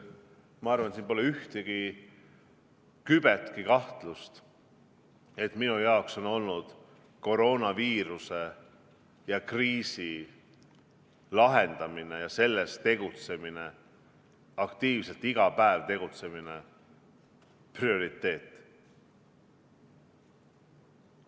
Ma arvan, siin pole kübetki kahtlust, et minu jaoks on olnud koroonaviiruse kriisi lahendamine ja selleks iga päev aktiivselt tegutsemine prioriteet.